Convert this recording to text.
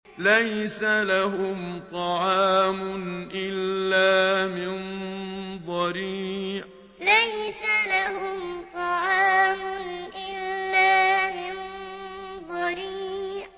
لَّيْسَ لَهُمْ طَعَامٌ إِلَّا مِن ضَرِيعٍ لَّيْسَ لَهُمْ طَعَامٌ إِلَّا مِن ضَرِيعٍ